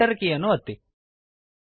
Enter ಕೀಯನ್ನು ಒತ್ತಿ